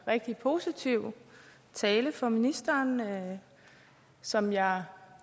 rigtig positiv tale fra ministeren som jeg